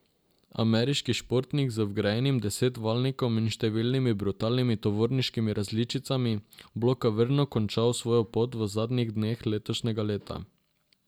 Ameriški športnik z vgrajenim desetvaljnikom in številnimi brutalnimi tovarniškimi različicami bo klavrno končal svojo pot v zadnjih dneh letošnjega leta.